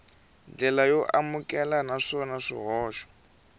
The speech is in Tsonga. ndlela yo amukeleka naswona swihoxo